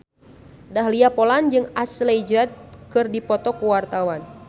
Dahlia Poland jeung Ashley Judd keur dipoto ku wartawan